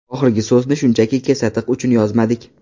Oxirgi so‘zni shunchaki kesatiq uchun yozmadik.